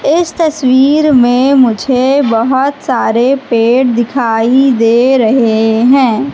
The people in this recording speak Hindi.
इस तस्वीर में मुझे बहुत सारे पेड़ दिखाई दे रहे हैं।